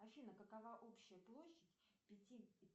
афина какова общая площадь пяти